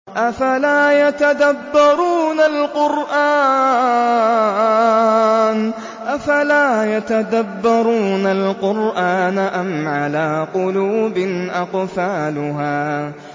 أَفَلَا يَتَدَبَّرُونَ الْقُرْآنَ أَمْ عَلَىٰ قُلُوبٍ أَقْفَالُهَا